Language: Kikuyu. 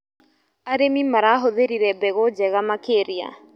Arĩmi marahũthĩrire mbegũ njega makĩria.